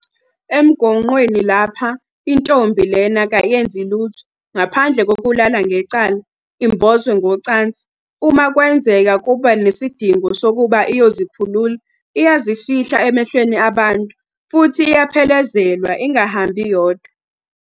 Emgonqweni lapha intombi lena kayenzi lutho ngaphandle kokulala ngecala, imbozwe ngocansi. Uma kwenzeka kuba nesidingo sokuba iyozikhulula, iyazifihla emehlweni abantu futhi iyaphelekezelwa, ingahambi yodwa.